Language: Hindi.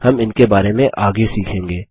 हम इनके बारे में आगे सीखेंगे